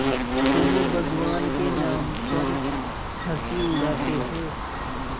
तुम भगवान के नाम पर हँसी उड़ाते हो